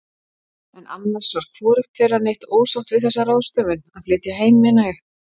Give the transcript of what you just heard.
En annars var hvorugt þeirra neitt ósátt við þessa ráðstöfun, að flytja heim meina ég.